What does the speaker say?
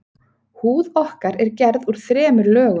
Húð okkar er gerð úr þremur lögum.